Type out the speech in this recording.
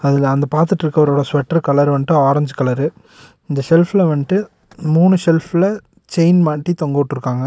அதுல அங்க பாத்துட்ருக்கவரோட sweater colour வன்டு orange colour இந்த செல்ஃப்ல வன்ட்டு மூணு செல்ஃப்ல செயின் மாட்டி தொங்க உட்ருக்காங்க.